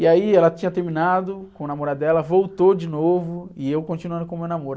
E aí ela tinha terminado com o namorado dela, voltou de novo, e eu continuando com o meu namoro.